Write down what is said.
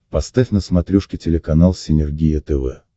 поставь на смотрешке телеканал синергия тв